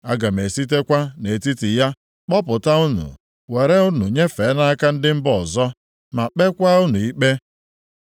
Aga m esitekwa nʼetiti ya kpọpụta unu, were unu nyefee nʼaka ndị mba ọzọ, ma kpekwa unu ikpe.